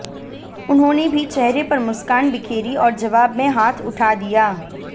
उन्होंने भी चेहरे पर मुस्कान बिखेरी और जवाब में हाथ उठा दिया